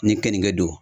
Ni keninge don